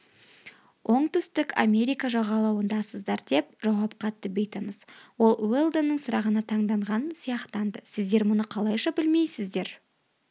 оңтүстік америка жағалауындасыздар деп жауап қатты бейтаныс ол уэлдонның сұрағына таңданған сияқтанды сіздер мұны қалайша білмейсіздер